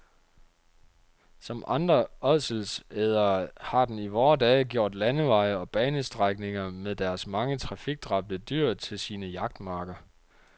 Som andre ådselædere har den i vore dage gjort landeveje og banestrækninger med deres mange trafikdræbte dyr til sine jagtmarker.